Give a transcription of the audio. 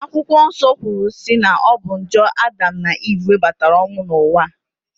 Akwụkwọ Nsọ kwuru si na ọ bụ njọ na Adam na Ive webatara ọnwụ n'ụwa